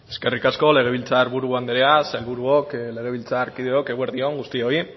eskerrik asko legebiltzar buru andrea sailburuok legebiltzarkideok eguerdi on guztioi